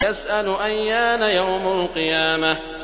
يَسْأَلُ أَيَّانَ يَوْمُ الْقِيَامَةِ